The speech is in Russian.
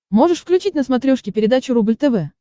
можешь включить на смотрешке передачу рубль тв